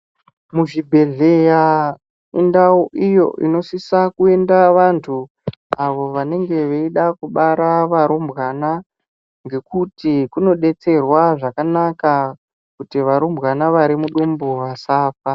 Muzvibhedhleya indau iyo inosisa kuenda vantu avo wanenge weida kubara warumbwana. Ngekuti kunodetserwa zvakanaka kuti warumbwana wari mudumbu wasafa.